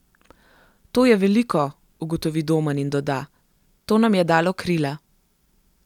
To je veliko,' ugotovi Domen in doda: 'To nam je dalo krila.